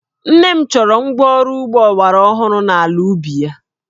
Nne m chọrọ ngwa ọrụ ugbo ọgbaraọhụrụ n'ala ubi ya